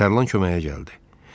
Tərlan köməyə gəldi.